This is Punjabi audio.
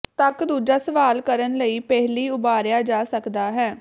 ਤੱਕ ਦੂਜਾ ਸਵਾਲ ਕਰਨ ਲਈ ਪਹਿਲੀ ਉਭਾਰਿਆ ਜਾ ਸਕਦਾ ਹੈ